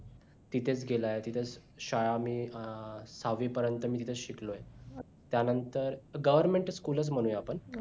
तिथंच गेलाय तिथेच शाळा मी सहावी पर्यंत तिथेच मी शिकलोय त्या नंतर government school च म्हणूया आपण